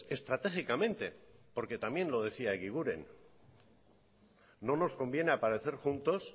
estratégicamente porque también lo decía egiguren no nos conviene aparecer juntos